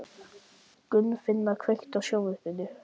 Þá er jarðhitavatn einnig notað til þurrkunar á fiski.